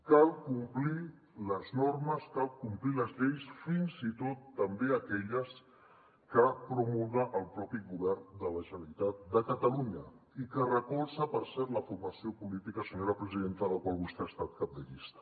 cal complir les normes cal complir les lleis fins i tot també aquelles que promulga el propi govern de la generalitat de catalunya i que recolza per cert la formació política senyora presidenta de la qual vostè ha estat cap de llista